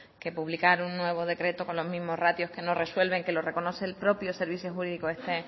que publicar un nuevo decreto con los mismos ratios que no resuelven que lo reconoce el propio servicio jurídico